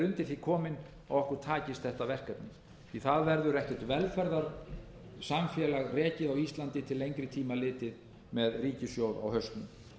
undir því komin að okkur takist þetta verkefni því að það verður ekkert velferðarsamfélag rekið á íslandi til lengri tíma litið með ríkissjóð á hausnum